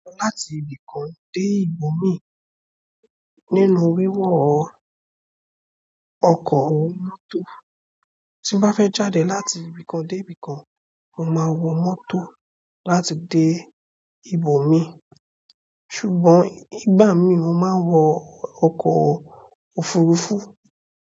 Láti ibì kan dé ibòmìí nínú wíwọ ọkọ̀ mọ́tò. Tí bá fẹ́ jáde láti ibì kan dé ibì kan, mo máa wọ mọ́tò láti dé ibòmíì. Ṣùgbọ́n ìgbà mí mo máa wo ọkọ̀ òfurufú.